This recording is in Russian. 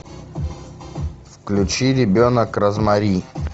включи ребенок розмари